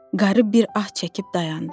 Qarı bir ah çəkib dayandı.